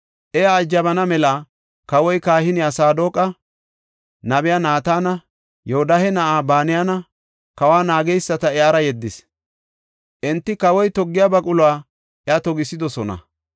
Iya ajabana mela kawoy kahiniya Saadoqa, nabiya Naatana, Yoodahe na7aa Banayanne kawa naageysata iyara yeddis; enti kawoy toggiya baquluwa iya togisidosona.